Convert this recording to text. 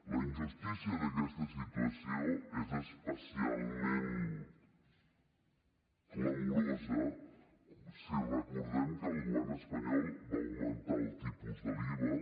la injustícia d’aquesta situació és especialment clamorosa si recordem que el govern espanyol va augmentar el tipus de l’iva